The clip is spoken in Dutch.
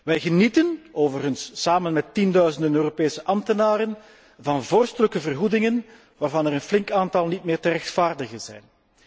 Wij genieten, overigens samen met tienduizenden Europese ambtenaren, van vorstelijke vergoedingen, waarvan er een flink aantal niet meer te rechtvaardigen zijn.